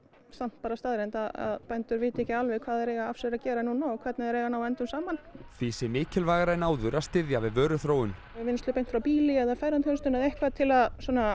bara staðreynd að bændur vita ekki alveg hvað þeir eiga af sér að gera og hvernig þeir eiga að ná endum saman því sé mikilvægara en áður að styðja við vöruþróun vinnslu beint frá býli eða ferðaþjónustu til að